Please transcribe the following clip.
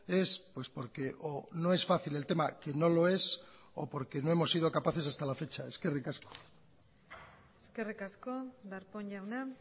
es pues porque o no es fácil el tema que no lo es o porque no hemos sido capaces hasta la fecha eskerrik asko eskerrik asko darpón jauna